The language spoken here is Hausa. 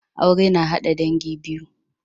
Aure na hada dangi biyu